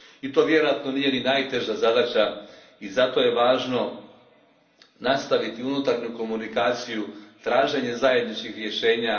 I to vjerojatno nije ni najteža zadaća i zato je važno nastaviti unutarnju komunikaciju, traženje zajedničkih rješenja.